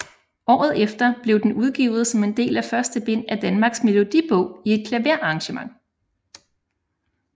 Året efter blev den udgivet som en del af første bind af Danmarks Melodibog i et klaverarrangement